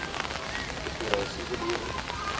ku tirha hi siku leri